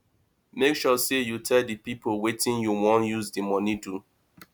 make sure say you tell di pipo wetin you won use di money do